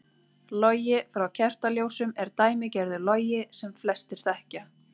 Logi frá kertaljósum er dæmigerður logi sem flestir þekkja.